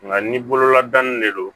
Nka ni bololadani de don